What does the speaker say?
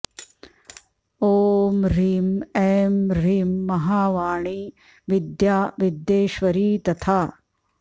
ॐ ह्रीं ऐं ह्रीं महावाणी विद्या विद्येश्वरी तथा